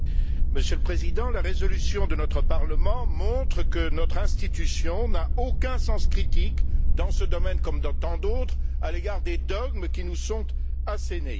Monsieur le Président, la résolution de notre Parlement montre que notre institution n'a aucun sens critique, dans ce domaine comme dans tant d'autres, à l'égard des dogmes qui nous sont assénés.